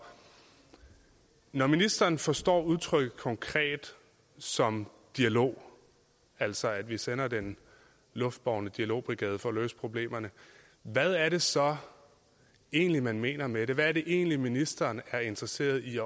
når ministeren forstår udtrykket konkret som dialog altså at vi sætter den luftbårne dialogbrigade ind for at løse problemerne hvad er det så egentlig man mener med det hvad er det egentlig ministeren er interesseret i